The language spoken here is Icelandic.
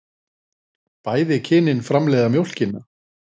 Bæði kynin framleiða mjólkina.